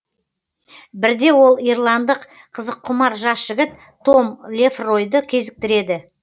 бірде ол ирландық қызыққұмар жас жігіт том лефройды кезіктіреді